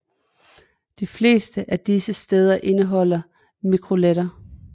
De fleste af disse steder indeholder mikroletter